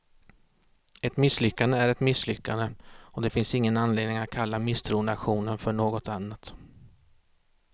Ett misslyckande är ett misslyckande, och det finns ingen anledning att kalla misstroendeaktionen för något annat.